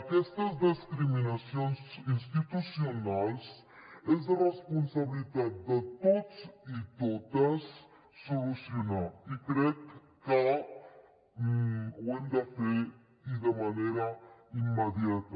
aquestes discriminacions institucionals és responsabilitat de tots i totes solucionar les i crec que ho hem de fer i de manera immediata